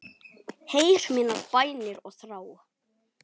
Heyr mínar bænir og þrá.